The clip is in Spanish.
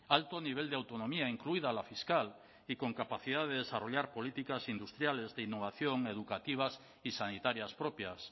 alto nivel de autonomía incluida la fiscal y con capacidad de desarrollar políticas industriales de innovación educativas y sanitarias propias